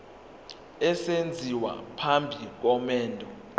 esenziwa phambi komendo